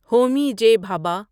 Homi J Bhabha